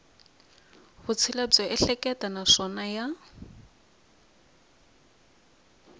vutshila byo ehleketa naswona ya